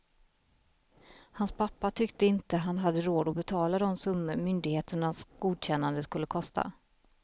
Hans pappa tyckte inte han hade råd att betala de summor myndigheternas godkännande skulle kosta.